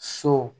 So